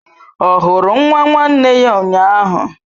Ọ hụrụ nwa nwanne ya ụnyahụ?